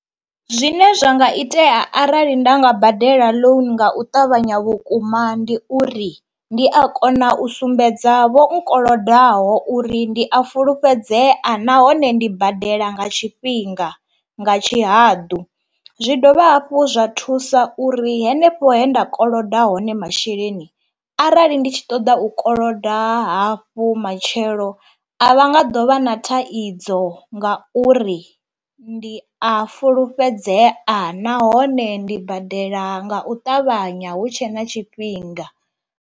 Zwine zwa nga itea arali nda nga badela loan nga u ṱavhanya vhukuma ndi uri ndi a kona u sumbedza vho nkolodaho uri ndi a fulufhedzea nahone ndi badela nga tshifhinga nga tshihaḓu, zwi dovha hafhu zwa thusa uri henefho he nda koloda hone masheleni arali ndi tshi ṱoḓa u koloda hafhu matshelo a vha nga ḓo vha na thaidzo nga uri ndi a fulufhedzea nahone ndi badela nga u ṱavhanya hu tshe na tshifhinga.